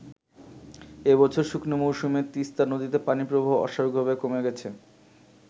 এবছর শুকনো মৌসুমে তিস্তা নদীতে পানি প্রবাহ অস্বাভাবিকহারে কমে গেছে।